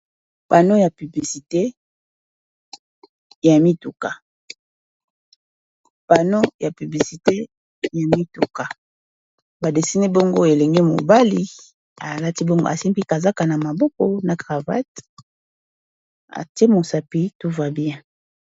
pano ya piblisite ya mituka badesini bongo elenge mobali alati bongo asimpikazaka na maboko na cravate atemosapi touva bien